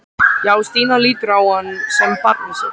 Já, Stína lítur á hann sem barnið sitt.